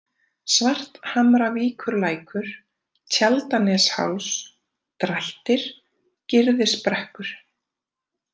Svarthamravíkurlækur, Tjaldanesháls, Drættir, Gyrðisbrekkur